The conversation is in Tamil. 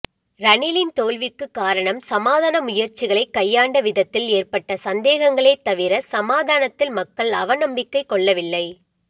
ரணிலின் தோல்விக்குக் காரணம் சமாதான முயற்சிகளைக் கையாண்ட விதத்தில் ஏற்பட்ட சந்தேகங்களே தவிர சமாதானத்தில் மக்கள் அவ நம்பிக்கை கொள்ளவில்லை